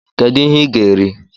Kedu ihe ị ga-eri?